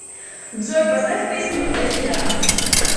джой поставь песню эльфида